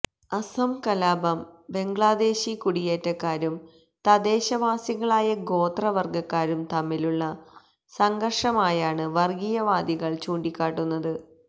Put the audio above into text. അസം കലാപം ബംഗ്ലാദേശി കുടിയേറ്റക്കാരും തദ്ദേശവാസികളായ ഗോത്ര വര്ഗ്ഗക്കാരും തമ്മിലുളള സംഘര്ഷമായാണ് വര്ഗ്ഗീയവാദികള് ചൂണ്ടിക്കാട്ടുന്നത്